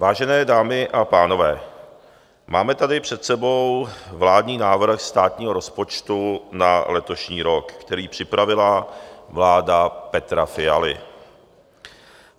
Vážené dámy a pánové, máme tady před sebou vládní návrh státního rozpočtu na letošní rok, který připravila vláda Petra Fialy.